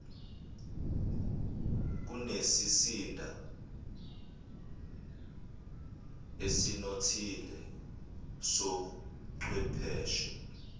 kunesizinda esinothile sobuchwepheshe